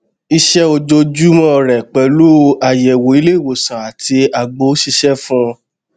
iṣẹ ojoojúmọ rẹ pẹlú àyẹwò ilé ìwòsàn àti àgbo sísè fún